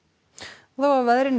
og þá að veðri